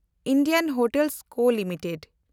Indian hotel co limited